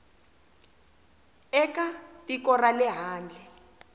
eka tiko ra le handle